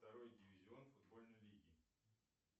второй дивизион футбольной лиги